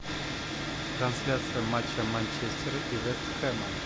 трансляция матча манчестер и вест хэма